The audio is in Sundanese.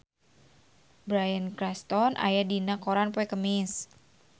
Bryan Cranston aya dina koran poe Kemis